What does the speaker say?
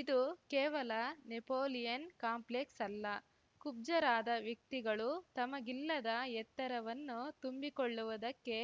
ಇದು ಕೇವಲ Napoleon complex ಅಲ್ಲ ಕುಬ್ಜರಾದ ವ್ಯಕ್ತಿಗಳು ತಮಗಿಲ್ಲದ ಎತ್ತರವನ್ನು ತುಂಬಿಕೊಳ್ಳುವುದಕ್ಕೆ